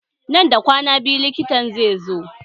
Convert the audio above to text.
Nan da kwana biyu likitan zai zo